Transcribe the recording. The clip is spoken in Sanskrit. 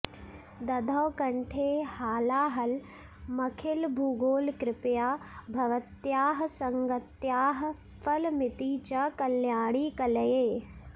दधौ कण्ठे हालाहलमखिलभूगोलकृपया भवत्याः संगत्याः फलमिति च कल्याणि कलये